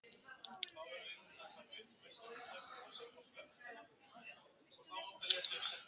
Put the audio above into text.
Einnig þekkjast fjölmörg dæmi meðal slanga og fiska.